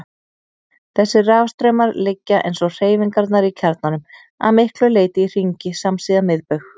Þessir rafstraumar liggja, eins og hreyfingarnar í kjarnanum, að miklu leyti í hringi samsíða miðbaug.